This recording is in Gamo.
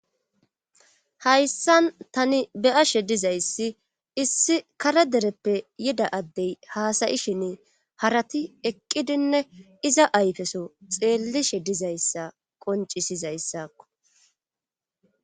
Hayssan tani beyashe dizayssi issi kare dereppe yida addey haasayishin harati eqqidinne iza ayfeso xeellishe dizayssa qoncisizayssakko